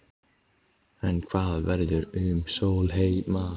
En hvað verður um Sólheima?